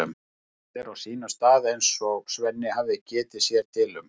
Allt er á sínum stað eins og Svenni hafði getið sér til um.